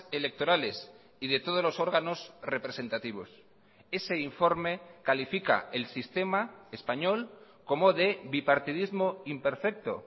electorales y de todos los órganos representativos ese informe califica el sistema español como de bipartidismo imperfecto